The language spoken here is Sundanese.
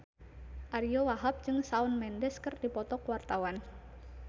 Ariyo Wahab jeung Shawn Mendes keur dipoto ku wartawan